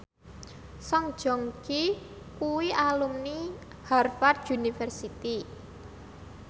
Song Joong Ki kuwi alumni Harvard university